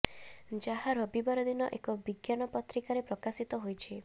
ଯାହା ରବିବାର ଦିନ ଏକ ବିଜ୍ଞାନ ପତ୍ରିକାରେ ପ୍ରକାଶିତ ହୋଇଛି